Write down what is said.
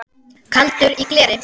Kaldur í gleri